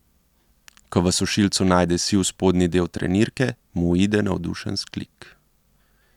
Ko v sušilcu najde siv spodnji del trenirke, mu uide navdušen vzklik.